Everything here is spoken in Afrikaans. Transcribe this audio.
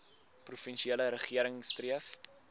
provinsiale regering streef